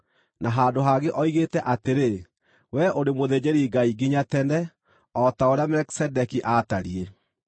Na handũ hangĩ oigĩte atĩrĩ, “Wee ũrĩ mũthĩnjĩri-Ngai nginya tene, o ta ũrĩa Melikisedeki aatariĩ.”